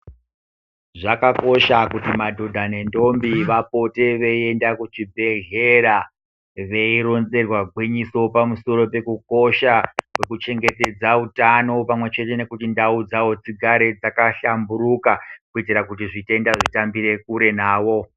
Zvakakosha kuti madhodha nendombi vapote veienda kuzvibhedhlera, veironzerwa gwinyiso pamusoro pekukosha kwekuchengetedza utano pamwe nekuona kuti ndau dzavo dzigare dzakahlamburuka, kuitira kuti zvitenda zvitambire kure navo.